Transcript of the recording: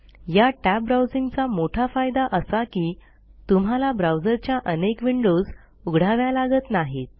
या टॅब ब्राउजिंगचा मोठा फायदा असा की तुम्हाला ब्राऊजरच्या अनेक विंडोज उघडाव्या लागत नाहीत